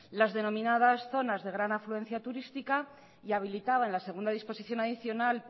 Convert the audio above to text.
las denominadas zonas de gran afluencia turística y habilitaban la segunda disposición adicional